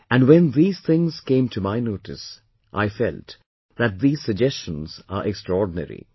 And when these things came to my notice I felt that these suggestions are extraordinary